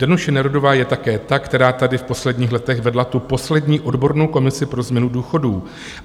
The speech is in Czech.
"Danuše Nerudová je také ta, která tady v posledních letech vedla tu poslední odbornou komisi pro změnu důchodů.